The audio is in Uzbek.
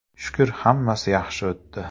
Shukr, hammasi yaxshi o‘tdi.